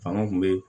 Fanga kun be